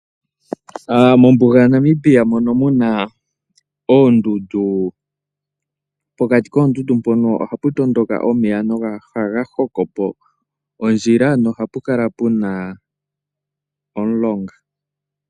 Mombuga yaNamibia mono hamu kala muna oondundu. Pokati koondundu ohapa tondoka omeya nohaga hokopo ondjila nohapa kala puna omulonga.